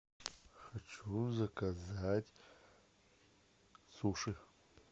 хочу заказать суши